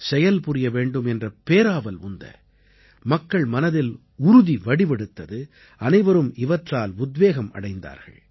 செயல்புரிய வேண்டும் என்ற பேராவல் உந்த மக்கள் மனதில் உறுதி வடிவெடுத்தது அனைவரும் இவற்றால் உத்வேகம் அடைந்தார்கள்